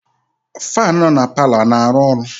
Faanụ nọ na palọ a na-arụ ọrụ?